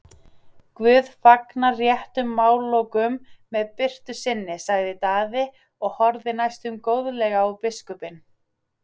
Guð fagnar réttum málalokum með birtu sinni, sagði Daði og horfði næstum góðlega á biskupinn.